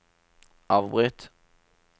avbryt